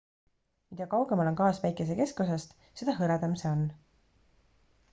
mida kaugemal on gaas päikese keskosast seda hõredam see on